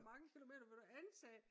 Hvor mange kilometer vil du antage?